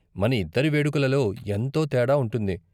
మన ఇద్దరి వేడుకలలో ఎంతో తేడా ఉంటుంది.